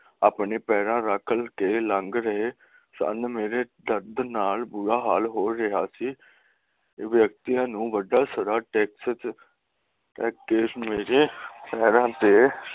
ਮੇਰੇ ਪੈਰਾਂ ਤੇ ਆਪਣੇ ਪੈਰਾਂ ਰੱਖ ਕੇ ਲੰਘ ਰਹੇ ਸਨ ਮੇਰੇ ਦਰਦ ਨਾਲ ਬੁਰਾ ਹਾਲ ਹੋ ਰਿਹਾ ਸੀ ਵਿਅਕਤੀਆਂ ਨੂੰ ਸਾਰਾ ਟੈਕਸ